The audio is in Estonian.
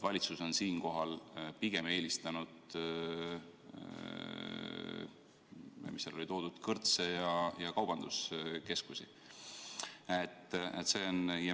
Valitsus on pigem eelistanud kõrtse ja kaubanduskeskusi.